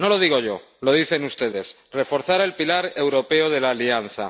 No lo digo yo, lo dicen ustedes reforzar el pilar europeo de la Alianza